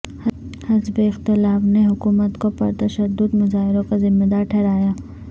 حزب اختلاف نے حکومت کو پر تشدد مظاہروں کا ذمہ دار ٹھہرایا